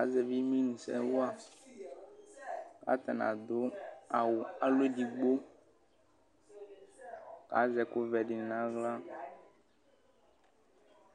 Azɛvi imenusɛ wa kʋvatani adʋ awʋ alɔ edigbo akʋ azɛ ɛkʋvɛ dini nʋ aɣla kʋ